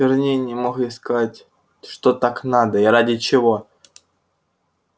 верней не мог ей сказать что так надо и ради чего